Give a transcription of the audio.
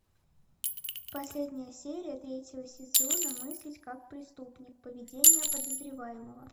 последняя серия третьего сезона мыслить как преступник поведение подозреваемого